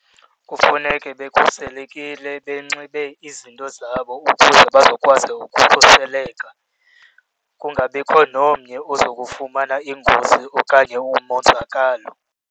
Kufuneke bekhuselekile, benxibe izinto zabo ukuze bazokwazi ukukhuseleka, kungabikho nomnye oza kufumana ingozi okanye umonzakalo.